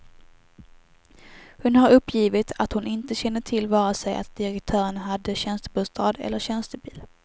Hon har uppgivit att hon inte kände till vare sig att direktören hade tjänstebostad eller tjänstebil.